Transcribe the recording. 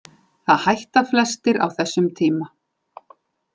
Það hætta flestir á þessum tíma.